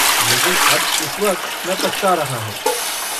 लेकिन अब इस वक्त मैं पछता रहा हूँ।